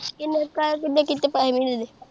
ਕਿੰਨੇ ਕਿਦਾ ਕੀਤੇ ਪੈਹੇ ਮਹੀਨੇ ਦੇ।